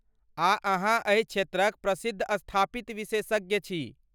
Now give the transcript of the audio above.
आ अहाँ एहि क्षेत्रक प्रसिद्धस्थापित विशेषज्ञ छी।